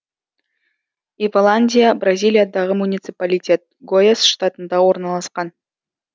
иволандия бразилиядағы муниципалитет гояс штатында орналасқан